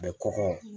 A bɛ kɔkɔ